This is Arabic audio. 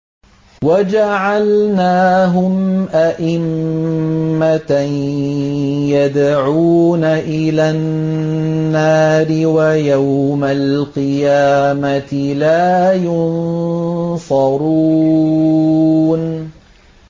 وَجَعَلْنَاهُمْ أَئِمَّةً يَدْعُونَ إِلَى النَّارِ ۖ وَيَوْمَ الْقِيَامَةِ لَا يُنصَرُونَ